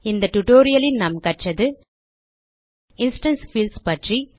இந்த tutorialலில் நாம் கற்றது இன்ஸ்டான்ஸ் பீல்ட்ஸ் பற்றி